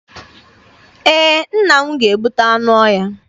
Ee, nna m ga-egbute anụ ọhịa.